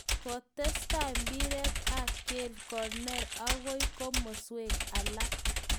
Kitesetai mpiret ab kelt koner okoi komoswek alak.